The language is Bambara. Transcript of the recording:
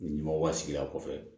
Ɲamaw ka sigidaw kɔfɛ